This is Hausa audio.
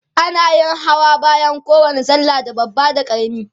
ana yin Hawa bayan kowani sallah da babba da karami